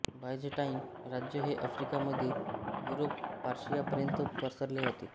ब ायझेंटाईन राज्य हे अफ्रिका मध्य युरोप पर्शियापर्यंत पसरले होते